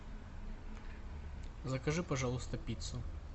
закажи пожалуйста пиццу